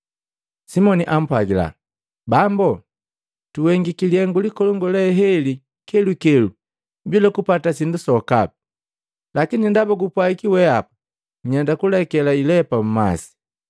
Simoni ampwagila, “Bambu! Tuhengiki lihengu likolongu le heli kelukelu bila kupata sindu sokapi. Lakini ndaba gupwagi wehapa, nyenda kuleke ilepa mmasi.”